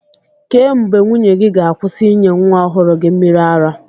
Kee mgbe nwunye gị ga-akwụsị ịnye nwa ọhụrụ gị mmịrị ara?